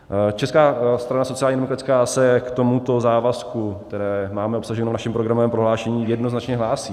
Česká strana sociálně demokratická se k tomuto závazku, který máme obsažen v našem programovém prohlášení, jednoznačně hlásí.